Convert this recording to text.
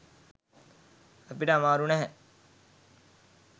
අපිට අමාරු නැහැ.